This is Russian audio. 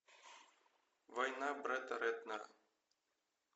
война бретта рэтнера